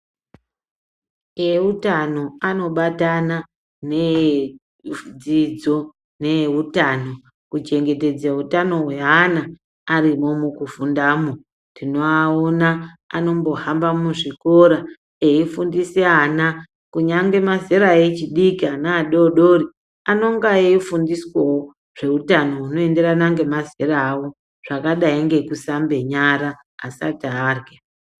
Eutano anobatana needzidzo neeutano kuchengetedze utano hweana arimwo mukufundamwo, tinoaona anombohamba muzvikora eifundise ana, kunyangwe mazera echidki ana adodori anonga eifundiswawo zveuutano hunoenderana nemazera awo, zvakadai ngekusambe nyara asati arya.